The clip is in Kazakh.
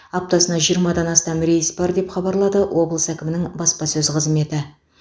аптасына жиырмадан астам рейс бар деп хабарлады облыс әкімінің баспасөз қызметі